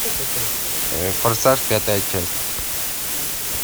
форсаж пятая часть